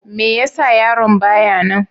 Me ya sa yaron ba ya nan?